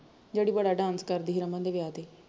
ਜਿਹੜੀ ਬੜਾ dance ਕਰਦੀ ਸੀ ਰਮਨ ਦੇ ਵਿਆਹ ਤੇ